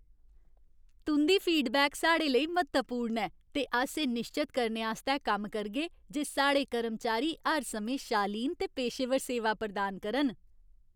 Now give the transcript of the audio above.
तुं'दी फीडबैक साढ़े लेई म्हत्तवपूर्ण ऐ, ते अस एह् निश्चत करने आस्तै कम्म करगे जे साढ़े कर्मचारी हर समें शालीन ते पेशेवर सेवा प्रदान करन।